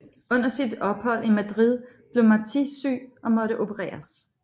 Under sit ophold i Madrid blev Martí syg og måtte opereres